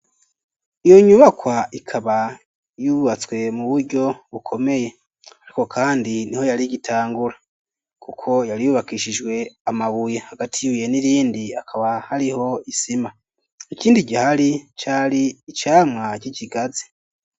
Iyo nyubakwa ikaba yubatswe mu buryo bukomeye ariko kandi niho yari gitangura kuko yari yubakishijwe amabuye hagati ibuye n'irindi akaba hariho isima ikindi gihari cari icamwa c'ikigazi.